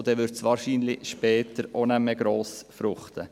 So würde es später wahrscheinlich auch nicht mehr gross fruchten.